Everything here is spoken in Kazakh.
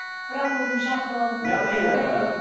бірақ өзім шақырып алдым да айналайын дедім